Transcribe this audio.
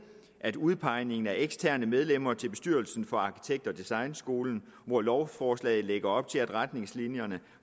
udpegningen af eksterne medlemmer til bestyrelsen for arkitekt og designskolerne hvor lovforslaget lægger op til at retningslinjerne